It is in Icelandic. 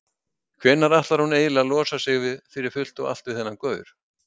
Hvenær ætlar hún eiginlega að losa sig fyrir fullt og allt við þennan gaur?